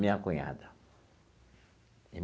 Minha cunhada.